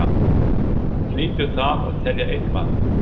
Hlýtur það að telja eitthvað?